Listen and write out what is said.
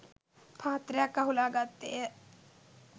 පාත්‍රයක් අහුලා ගත්තේය.